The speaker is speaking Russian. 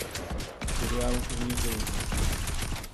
сериал унижение